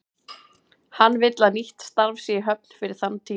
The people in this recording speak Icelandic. Hann vill að nýtt starf sé í höfn fyrir þann tíma.